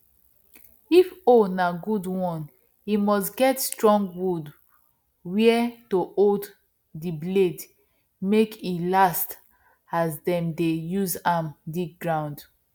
if hoe na good one e must get strong wood where to hold the blade make e last as them dey use am dig ground